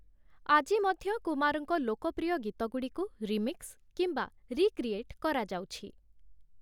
ଆଜି ମଧ୍ୟ କୁମାରଙ୍କ ଲୋକପ୍ରିୟ ଗୀତଗୁଡ଼ିକୁ ରିମିକ୍ସ କିମ୍ବା ରିକ୍ରିଏଟ୍ କରାଯାଉଛି ।